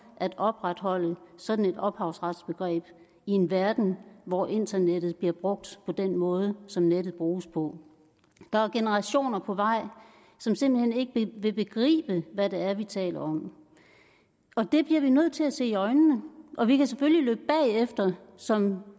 at opretholde sådan et ophavsretsbegreb i en verden hvor internettet bliver brugt på den måde som nettet bruges på der er generationer på vej som simpelt hen ikke vil begribe hvad det er vi taler om og det bliver vi nødt til at se i øjnene og vi kan selvfølgelig løbe bagefter som